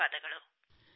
ಧನ್ಯವಾದಗಳು